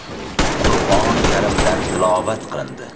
Qur’oni Karimdan tilovat qilindi.